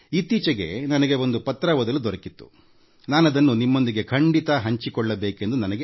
ಇತ್ತೀಚೆಗೆ ನನಗೆ ಒಂದು ಪತ್ರ ಓದಲು ದೊರಕಿತ್ತುನಾನದನ್ನು ನಿಮ್ಮೊಂದಿಗೆ ಹಂಚಿಕೊಳ್ಳುತ್ತೇನೆ